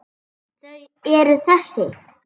Þau eru þessi